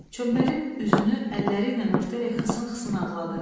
Çömbəlib üzünü əlləriylə örtərək xısın-xısın ağladı.